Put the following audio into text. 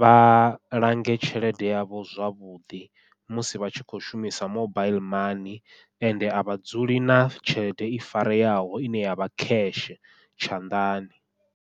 vha lange tshelede yavho zwavhuḓi musi vha tshi khou shumisa mobaiḽi mani ende a vha dzuli na tshelede i fareaho ine yavha cash tshanḓani.